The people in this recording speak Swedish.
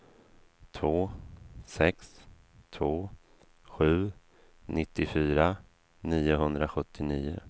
två sex två sju nittiofyra niohundrasjuttionio